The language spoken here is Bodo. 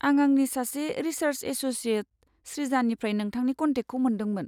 आं आंनि सासे रिसार्स एस'सियेट, स्रिजानिफ्राय नोंथांनि कन्टेकखौ मोन्दोंमोन।